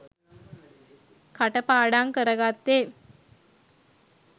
කටපාඩං කරගත්තේ